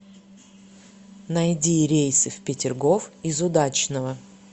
найди рейсы в петергоф из удачного